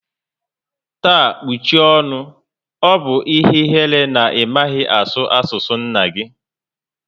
Taa kpuchie ọṅụ! Ọ bụ ihe ihere na ị maghị asụ asụ nna gi